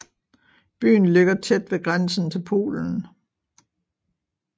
Byen ligger tæt ved grænsen til Polen